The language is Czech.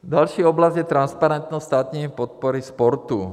Další oblast je transparentnost státní podpory sportu.